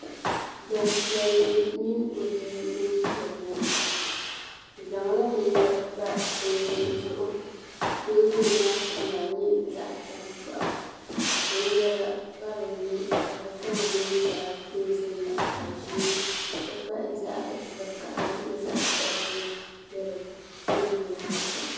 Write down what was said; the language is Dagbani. Gbampiɛlli mini o bia n-ʒia ŋɔ. Bɛ zaŋla binyɛra pa teebuli zuɣu ka teebuli maa kama nyɛ zaɣ' taŋkpaɣu. Binyɛra pa dinni ka di kama nyɛ zaɣ' dozim zaɣ' ʒee nti pahi zaɣ' vakahili ni zaɣ' sabilinli be teebuli maa zuɣu.